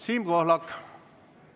Siim Pohlak, palun!